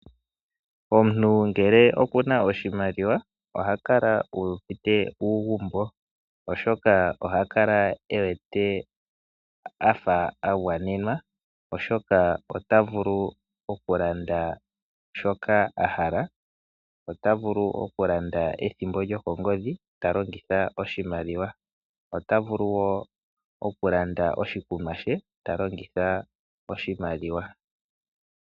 Omuntu ngele okuna oshimaliwa ohakala uuvite uugumbo oshoka ohakala ewete afa agwanenwa oshoka otavulu okulanda shoka ahala, otavulu okulanda ethimbo lyokongodhi talongitha talongitha oshimaliwa. Otavulu wo okulanda oshikunwa she talongitha oshimaliwa.